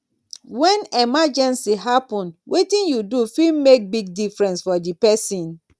when emergency happen wetin yu do fit mek big difference for di pesin